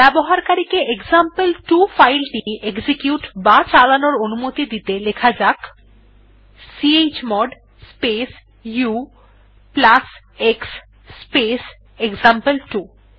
ব্যবকারীকে example two file টি execute বা চালানোর অনুমতি দিতে লেখা যাক chmod space ux space example two